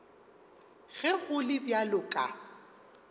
ge go le bjalo ka